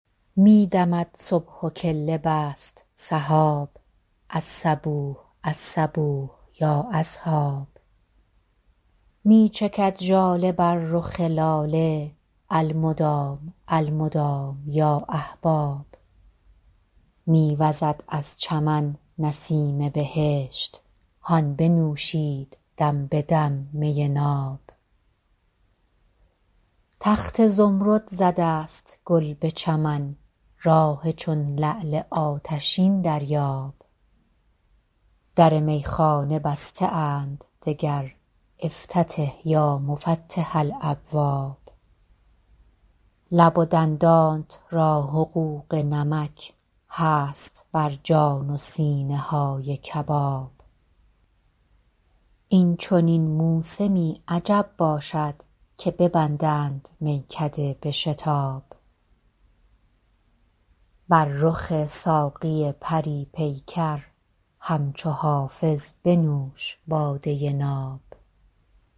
می دمد صبح و کله بست سحاب الصبوح الصبوح یا اصحاب می چکد ژاله بر رخ لاله المدام المدام یا احباب می وزد از چمن نسیم بهشت هان بنوشید دم به دم می ناب تخت زمرد زده است گل به چمن راح چون لعل آتشین دریاب در میخانه بسته اند دگر افتتح یا مفتح الابواب لب و دندانت را حقوق نمک هست بر جان و سینه های کباب این چنین موسمی عجب باشد که ببندند میکده به شتاب بر رخ ساقی پری پیکر همچو حافظ بنوش باده ناب